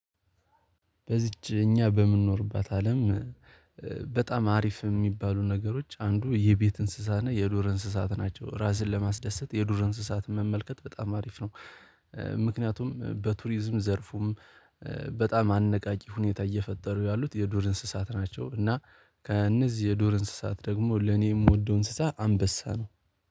በዚች እኛ በምንኖርባት አለም በጣም አሪፍ የሚባሉ ነገሮች አንዱ የቤት እንስሳና የዱር እንስሳት ናቸው። ራስን ለማስደሰት የዱር እንስሳትን መመልከት በጣም አሪፍ ነው። ምክንያቱም በቱሪዝም ዘርፉም በጣም አነቃቂ ሁኔታ እየፈጠሩ ያሉት የዱር እንስሳት ናቸው። እና ከእነዚህ የዶር እንስሳት ደግሞ ለኔ የምወደው እንስሳ አንበሳ ነው